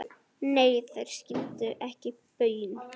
Nei, þeir skildu ekki baun.